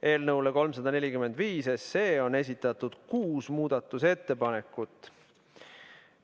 Eelnõu 345 kohta on esitatud kuus muudatusettepanekut.